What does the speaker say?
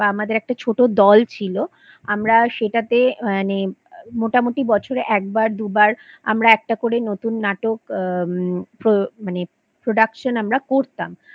বা আমাদের একটা ছোট দোল ছিল আমরা সেটাতে মানে মোটামুটি বছরে একবার দুবার আমরা একটা করে নতুন নাটক আম প্রো মানে Production আমরা করতাম